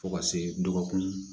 Fo ka se dɔgɔkun